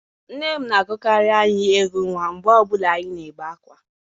Nne m na-agụkarị anyị egwú nwa mgbe ọ bụla anyị na-ebe ákwá.